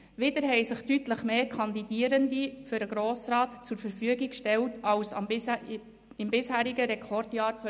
Wieder haben sich deutlich mehr Kandidierende für den Grossen Rat zur Verfügung gestellt als im bisherigen Rekordjahr 2010.